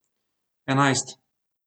Enajst.